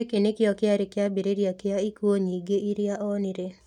Gĩkĩ nĩkĩo kĩarĩ kĩambĩrĩria kĩa ikuũ nyingĩ iria onire.